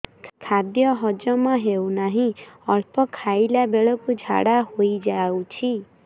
ଖାଦ୍ୟ ହଜମ ହେଉ ନାହିଁ ଅଳ୍ପ ଖାଇଲା ବେଳକୁ ଝାଡ଼ା ହୋଇଯାଉଛି